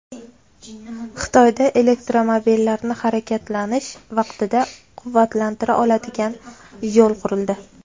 Xitoyda elektromobillarni harakatlanish vaqtida quvvatlantira oladigan yo‘l qurildi.